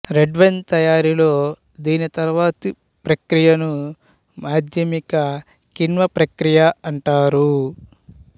red wine తయారీలో దీని తర్వాతి ప్రక్రియను మాధ్యమిక కిణ్వ ప్రక్రియ అంటారు